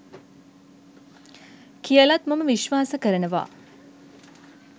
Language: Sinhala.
කියලත් මම විශ්වාස කරනවා